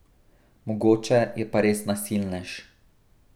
Mogoče je pa res nasilnež.